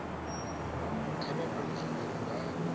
kha vha vhone zwauri vha